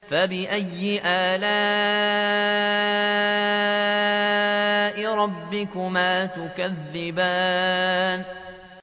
فَبِأَيِّ آلَاءِ رَبِّكُمَا تُكَذِّبَانِ